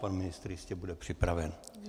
Pan ministr jistě bude připraven.